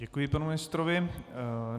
Děkuji panu ministrovi.